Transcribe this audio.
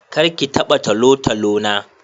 Kar ki taba talotalo na.